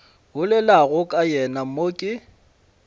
bolelago ka yena mo ke